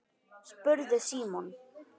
spurði Símon.